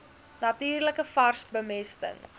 natuurlike vars bemesting